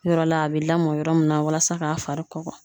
Yɔrɔ la a be lamɔ yɔrɔ min na walasa k'a fari kɔgɔ